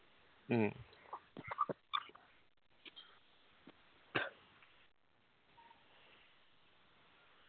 മ്മ്